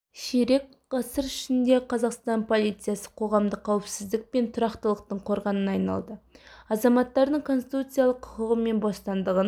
ширек ғасыр ішінде қазақстан полициясы қоғамдық қауіпсіздік пен тұрақтылықтың қорғанына айналды азаматтардың конституциялық құқығы мен бостандығын